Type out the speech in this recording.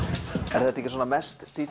er þetta ekki svona mest